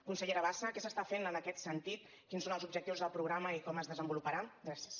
consellera bassa què s’està fent en aquest sentit quins són els objectius del programa i com es desenvoluparà gràcies